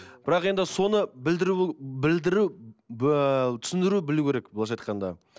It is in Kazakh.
бірақ енді соны білдіру білдіру түсіндіру білу керек былайынша айтқанда